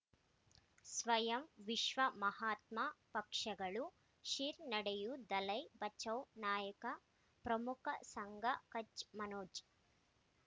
ಸ್ವಯಂ ವಿಶ್ವ ಮಹಾತ್ಮ ಪಕ್ಷಗಳು ಶ್ರೀ ನಡೆಯೂ ದಲೈ ಬಚೌ ನಾಯಕ ಪ್ರಮುಖ ಸಂಘ ಕಚ್ ಮನೋಜ್